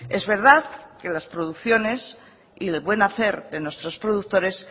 es verdad que las producciones y el buen hacer de nuestros productores